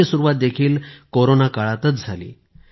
त्याची सुरुवात देखील कोरोना काळातच झाली